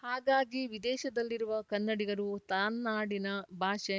ಹಾಗಾಗಿ ವಿದೇಶದಲ್ಲಿರುವ ಕನ್ನಡಿಗರು ತಾನ್ನಾಡಿನ ಭಾಷೆ